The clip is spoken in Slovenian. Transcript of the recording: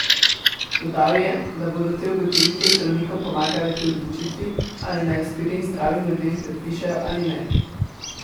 Dodal je, da bodo te ugotovitve zdravnikom pomagale pri odločitvi, ali naj aspirin zdravim ljudem predpišejo ali ne.